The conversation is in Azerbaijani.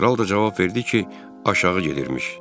Kral da cavab verdi ki, aşağı gedirmiş.